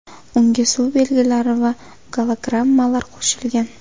Unga suv belgilari va gologrammalar qo‘shilgan.